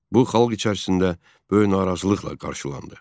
Bu xalq içərisində böyük narazılıqla qarşılandı.